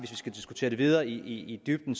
skal diskutere det videre i dybden